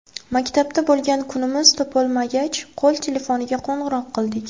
Maktabda bo‘lgan kunimiz topolmagach, qo‘l telefoniga qo‘ng‘iroq qildik.